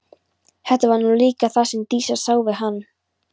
Það var nú líka það sem Dísa sá við hann.